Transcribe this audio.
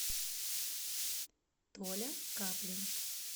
толя каплин